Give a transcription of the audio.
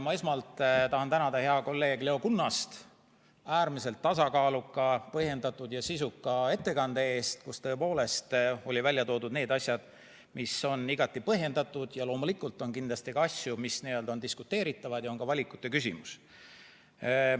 Ma esmalt tahan tänada head kolleegi Leo Kunnast äärmiselt tasakaaluka, põhjendatud ja sisuka ettekande eest, kus olid välja toodud need asjad, mis on igati põhjendatud, ja loomulikult on kindlasti ka asju, mis on diskuteeritavad, ja on ka valikute küsimus.